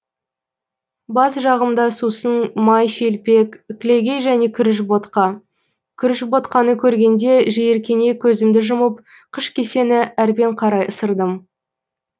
бас жағымда сусын май шелпек кілегей және күріш ботқа күріш ботқаны көргенде жиіркене көзімді жұмып қыш кесені әрмен қарай ысырдым